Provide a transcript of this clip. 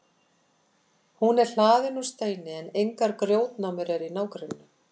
Hún er hlaðin úr steini en engar grjótnámur eru í nágrenninu.